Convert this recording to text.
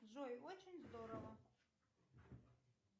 джой очень здорово